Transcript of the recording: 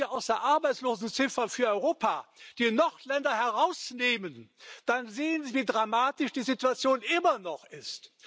Wenn Sie aus der Arbeitslosenziffer für Europa die Nordländer herausnehmen, dann sehen Sie, wie dramatisch die Situation immer noch ist.